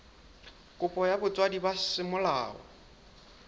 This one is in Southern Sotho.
kopo ya botswadi ba semolao